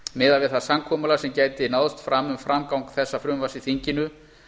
miðað við það samkomulag sem gæti náðst fram um framgang þessa frumvarps í þinginu